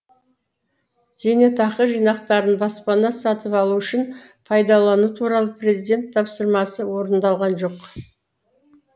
зейнетақы жинақтарын баспана сатып алу үшін пайдалану туралы президент тапсырмасы орындалған жоқ